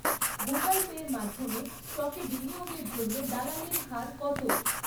Google পের মাধ্যমে স্টকে বিনিয়োগের জন্য দালালির হার কত?